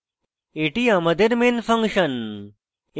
এটি আমাদের main function